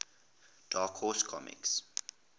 dark horse comics